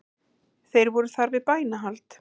Þeir voru þar við bænahald